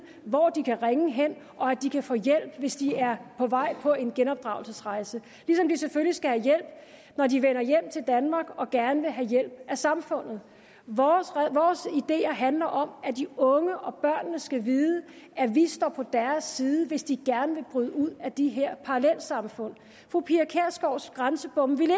hvor de kan ringe hen og at de kan få hjælp hvis de er på vej på en genopdragelsesrejse ligesom de selvfølgelig skal have hjælp når de vender hjem til danmark og gerne vil have hjælp af samfundet vores ideer handler om at de unge og børnene skal vide at vi står på deres side hvis de gerne vil bryde ud af de her parallelsamfund fru pia kjærsgaards grænsebomme ville